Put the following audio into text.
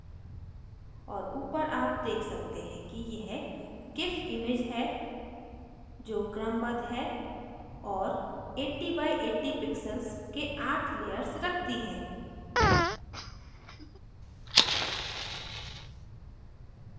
और ऊपर आप देख सकते हैं कि यह gif image है जो क्रमबद्ध और 80 by 80 pixels के आठ layers रखती है